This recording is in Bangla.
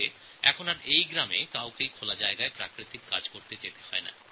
এখন এই গ্রামের কোনও ব্যক্তিকে উন্মুক্ত স্থানে শৌচকর্ম করতে হয় না